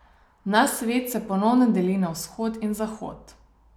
Naš svet se ponovno deli na Vzhod in Zahod.